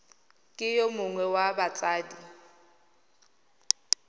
ke yo mongwe wa batsadi